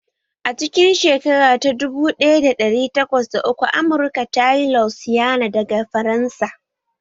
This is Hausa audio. A cikin shekara ta dubu ɗaya da ɗari takwas da uku Amurka ta sayi Louisiana daga Faransa